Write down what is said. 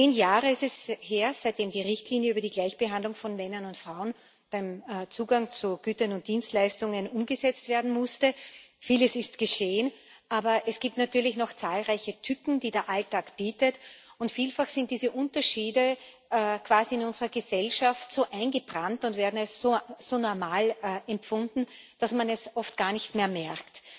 Zehn Jahre ist es her, seitdem die Richtlinie über die Gleichbehandlung von Männern und Frauen beim Zugang zu Gütern und Dienstleistungen umgesetzt werden musste. Vieles ist geschehen. Aber es gibt natürlich noch zahlreiche Tücken, die der Alltag bietet, und vielfach sind diese Unterschiede quasi in unserer Gesellschaft so eingebrannt und werden als so normal empfunden, dass man es oft gar nicht mehr merkt.